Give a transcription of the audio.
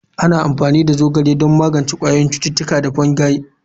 Ana amfani da zogale don magance ƙwayoyin cuta da fungi.